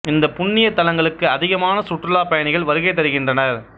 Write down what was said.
இந்த புண்ணிய தலங்களுக்கு அதிகமான சுற்றுலா பயணிகள் வருகை தருகின்றனர்